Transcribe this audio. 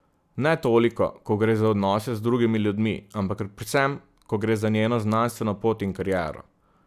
Ne toliko, ko gre za odnose z drugimi ljudmi, ampak predvsem, ko gre za njeno znanstveno pot in kariero.